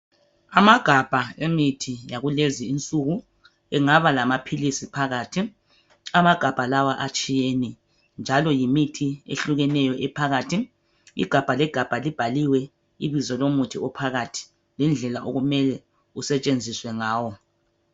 Amagabha emithi yakulezi insuku. Engaba lamaphilisi phakathi. Amagabha lawa atshiyene. Njalo yimithi ehlukeneyo ephakathi. Igabha legabha libhaliwe ibizo lomuthi ophakathi lendlela okumele usetshenziswe ngawo.